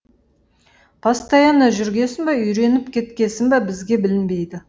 постоянно жүргесін ба үйреніп кеткесін ба бізге білінбейді